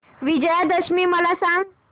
विजयादशमी मला सांग